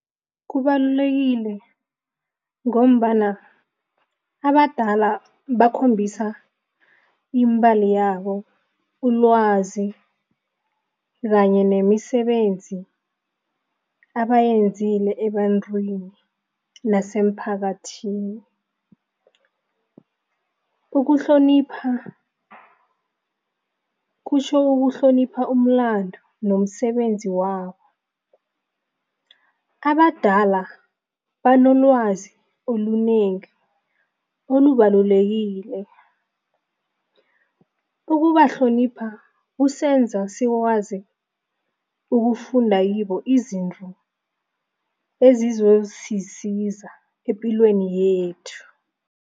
Kubalulekile ngombana abadala bakhombisa yabo, ulwazi kanye nemisebenzi abayenzile ebantwini nasemphakathini. Ukuhlonipha kutjho ukuhlonipha umlandu nomsebenzi wabo. Abadala banolwazi olunengi olubalulekile, ukubahlonipha ukusenza sikwazi ukufunda kibo izinto ezizosisiza epilweni yethu.